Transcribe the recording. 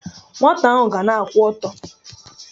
Nwata ahụ ga na-akwụ ọtọ.